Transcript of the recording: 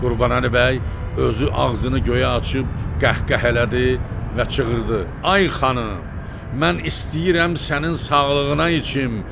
Qurbanəli bəy özü ağzını göyə açıb qəhqəhələdi və çığırdı: "Ay xanım, mən istəyirəm sənin sağlığına içim!"